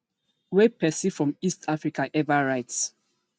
wey person from east africa ever write